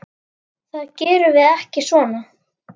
Það gerum við ekki svona.